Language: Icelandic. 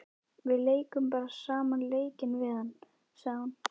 Við leikum bara sama leikinn við hann, sagði hún.